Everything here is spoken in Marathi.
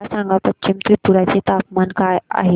मला सांगा पश्चिम त्रिपुरा चे तापमान काय आहे